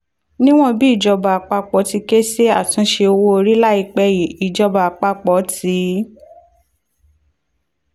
níwọ̀n bí ìjọba àpapọ̀ ti ké sí àtúnṣe owó orí láìpẹ́ yìí ìjọba àpapọ̀ ti